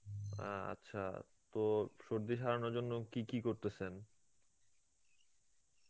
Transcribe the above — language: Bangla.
অ্যাঁ আচ্ছা তো সর্দি সরানোর জন্যে কী কী করতেসেন?